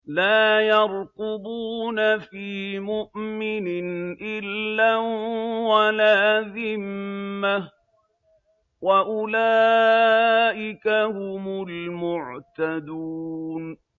لَا يَرْقُبُونَ فِي مُؤْمِنٍ إِلًّا وَلَا ذِمَّةً ۚ وَأُولَٰئِكَ هُمُ الْمُعْتَدُونَ